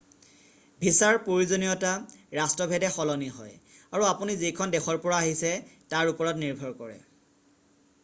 ভিছাৰ প্ৰয়োজনীয়তা ৰাষ্ট্ৰভেদে সলনি হয় আৰু আপুনি যিখন দেশৰ পৰা আহিছে তাৰ ওপৰত নিৰ্ভৰ কৰে